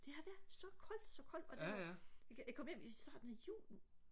det er da så koldt så koldt og det jeg kom hjem i starten af juli